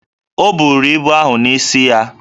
O buru ibu ahụ n’isi ya